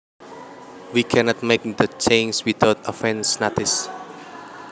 We cannot make the changes without advance notice